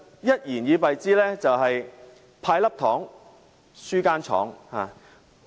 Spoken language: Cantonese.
一言以敝之，這是"派粒糖，輸間廠"。